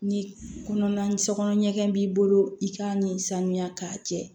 Ni kɔnɔna ni so kɔnɔ ɲɛgɛn b'i bolo i k'a ni sanuya k'a jɛ